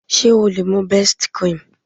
Ṣé o lè mú best cream?